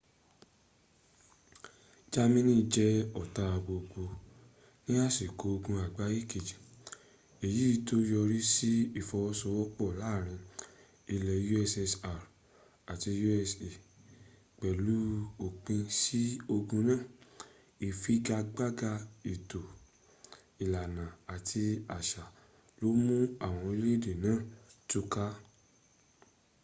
jámánì jẹ ọ̀tá gbogbo ní àsìkò ogun àgbáyé kejì èyí tó yọrísí ìfọwọ́sowọ́pọ̀ láàrin ilẹ̀ ussr àti usa. pẹ̀lú òpin sí ogun náà ifigagbaga ètò ìlànà àti àṣà ló mú àwọn orílẹ̀-èdè náà túká